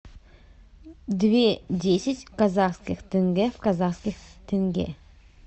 две десять казахских тенге в казахских тенге